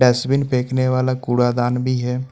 Dustbin फेंकने वाला कूड़ादन भी है।